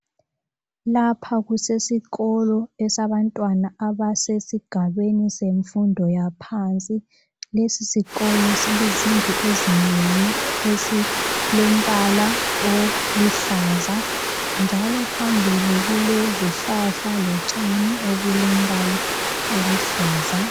Lapha kusesikolo esabantwana abasesigabeni semfundo yaphansi. Lesisikolo silezindlu ezinengi esilombala oluhlaza njalo phambili kulezihlahla lotshani obulembala oluhlaza.